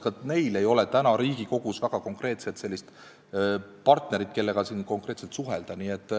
Ka neil ei ole Riigikogus väga konkreetset partnerit, kellega suhelda.